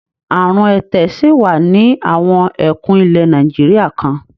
Àrùn ẹ̀tẹ̀ ṣì wà ní àwọn ẹkùn ilẹ̀ Nàìjíríà kan.